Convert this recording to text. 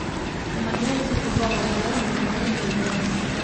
помоги найти футбол апл между бернли и борнмут